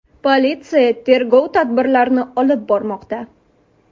Politsiya tergov tadbirlarini olib bormoqda.